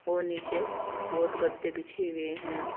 और नीचे बहुत गद्दे बिछे हुए हैं।